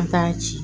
A t'a ci